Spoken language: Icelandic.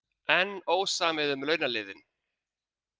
Enn ósamið um launaliðinn